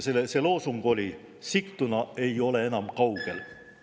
See loosung oli "Sigtuna ei ole enam kaugel!".